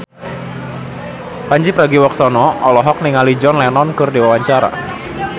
Pandji Pragiwaksono olohok ningali John Lennon keur diwawancara